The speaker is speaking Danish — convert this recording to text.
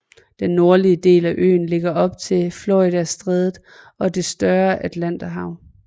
Den nordlige del af øen ligger op til Floridastrædet og det større Atlanterhav